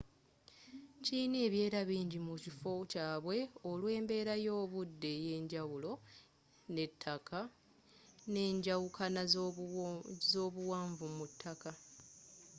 kilina ebieera bingi mu kifo kyabwe olw'embera y'obudde eyenjjawulo n'ettakka nenjawukana zobuwanvu mu ttaka